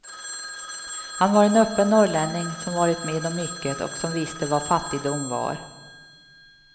Han var en öppen norrlänning som varit med om mycket och som visste vad fattigdom var.